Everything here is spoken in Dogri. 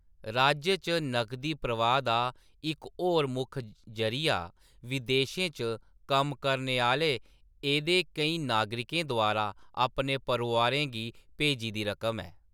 राज्य च नगदी प्रवाह् दा इक होर मुक्ख जरीया विदेशें च कम्म करने आह्‌ले एह्दे केईं नागरिकें द्वारा अपने परोआरें गी भेजी दी रकम ऐ।